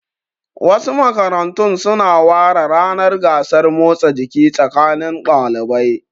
Wasu makarantun su na ware ranar gasar motsa jiki tsakanin ɗalibai